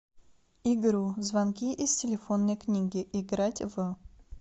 игру звонки из телефонной книги играть в